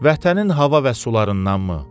Vətənin hava və sularındanmı?